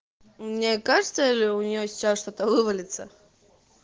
мне кажется или у нее сейчас что-то вывалится